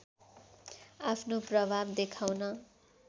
आफ्नो प्रभाव देखाउन